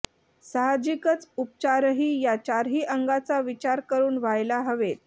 साहजिकच उपचारही या चारही अंगांचा विचार करून व्हायला हवेत